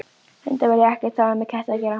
Hundar vilja ekkert hafa með ketti að gera.